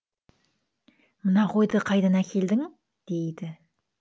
мына қойды қайдан әкелдің дейді